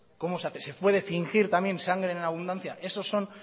cómo se hace se puede fingir también sangren en abundancia esas son